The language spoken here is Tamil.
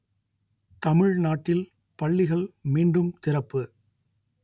தமிழ்நாட்டில் பள்ளிகள் மீண்டும் திறப்பு